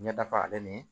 Ɲɛdafalen ni